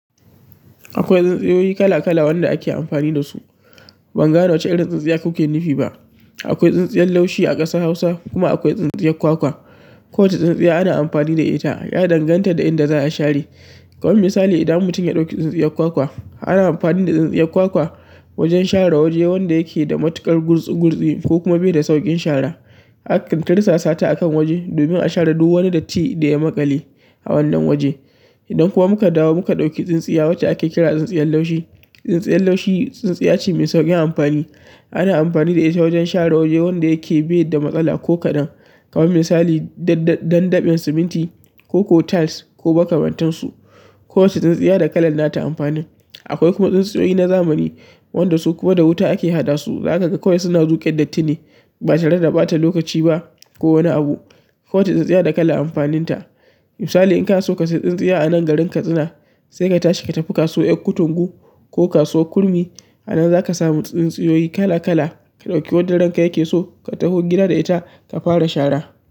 Akwai tsintsiyoyi kala kala wanda ake amfani da su. Ban gane wacce irin tsintsiya kuke nufi ba. Akwai tsintsiyar laushi a ƙasar Hausa kuma akwai tsintsiyar kwakwa. Kowacce tsintsiya ana amfani da ita, ya danganta da inda za a share. Kaman misali idan mutum ya ɗauki tsintsiyar kwakwa, ana amfani da tsintsiyar kwakwa wajen share waje wanda yake da matuƙar gurtsi gurtsi ko kuma bai da sauƙin shara. A ƙin tarsa sata akan waje domin a share duk wani datti da ya maƙale a wannan waje. Idan kuma muka dawo muka ɗauki tsintsiya wacce ake kira tsintsiyar laushi. Tsintsiyar laushi, tsintsiya ce mai sauƙin amfani. Ana amfani da ita wajen share waje wanda yake bai da matsala ko kaɗan. Kawai misali, dandaben siminti ko ko tiles ko makamantan su. Kowacce tsintsiya da kalan nata amfanin. Akwai kuma tsintsiyoyi na zamani, wanda su kuma da wuta ake haɗa su. Zakaga kawai suna zuƙe dattine ba tare da ɓata lokaci ba ko wani abu. Kowacce tsintsiya da kalar amfaninta. Misali in ka so ka sayi tsintsiya a nan garin Katsina, sai ka tashi ka tafi kasuwar ƴar Kutungu ko kasuwar Kurmi. Anan zaka samu tsintsiyoyi kala kala, ka ɗauki wadda ranka yake so, ka taho gida da ita ka fara shara.